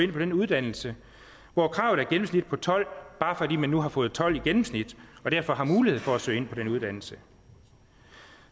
ind på den uddannelse hvor kravet er et gennemsnit på tolv bare fordi de nu har fået tolv i gennemsnit og derfor har mulighed for at søge ind på den uddannelse